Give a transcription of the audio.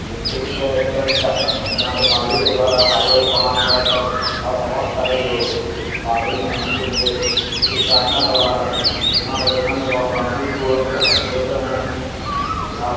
ये दृश्य एक चर्च का है जहां पे पादरी के द्वारा बायबल को हाथ मे रखकर और बहुत सारे जो पादरी मे उनके से कुछ प्रार्थना करवा रहे है यहां का जो ढंग है जो बहुत शांतिपूर्वक है और देख रहे है की आप --